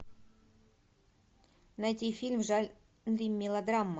найти фильм в жанре мелодрама